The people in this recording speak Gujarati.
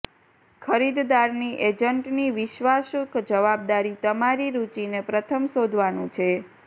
ખરીદદારની એજન્ટની વિશ્વાસુ જવાબદારી તમારી રુચિને પ્રથમ શોધવાનું છે